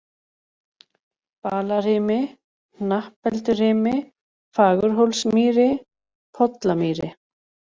Balarimi, Hnappeldurimi, Fagurhólsmýri, Pollamýri